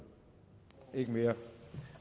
ikke mere